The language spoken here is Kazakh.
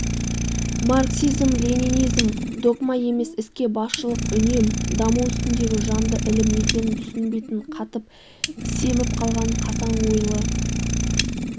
марксизм-ленинизм догма емес іске басшылық үнем даму үстіндегі жанды ілім екенін түсінбейтін қатып-семіп қалған қасаң ойлы